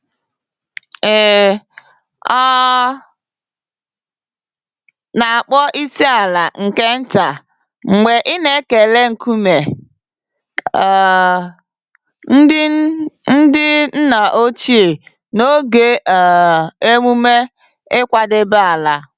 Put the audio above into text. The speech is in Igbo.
Ị um na-akpọ isi-ala nke nta mgbe ị na-ekele nkume um ndị ndị nna ochie n'oge um emume ịkwadebe ala.